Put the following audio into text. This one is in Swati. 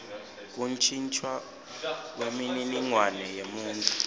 kuntjintjwa kwemininingwane yemuntfu